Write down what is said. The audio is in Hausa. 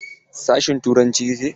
Sashin turanci kike?